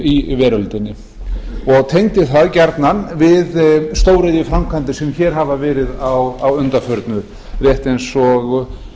í veröldinni og tengdi það gjarnan við stóriðjuframkvæmdir sem hér hafa verið að undanförnum rétt eins og